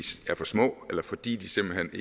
er for små eller fordi de simpelt